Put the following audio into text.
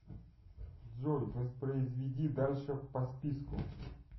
джой воспроизведи дальше по списку